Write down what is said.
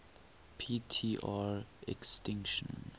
p tr extinction